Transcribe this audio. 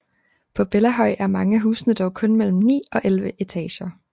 På Bellahøj er mange af husene dog kun mellem 9 og 11 etager